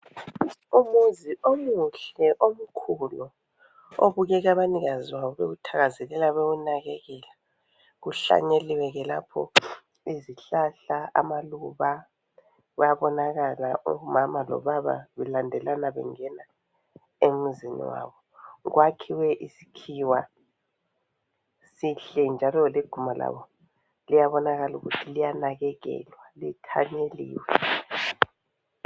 Umuzi omuhle omkhulu obukeka abanikazi bawo bewuthakazelela bewunakekela . Kuhlanyeliwe ke lapho izihlahla amaluba bayabonakala omama lo baba belandelana bengena emuzini wabo . Kwakhiwe isikhiwa sihle njalo leguma labo liyabonakala ukuthi liyanakekelwa lithanyeliwe .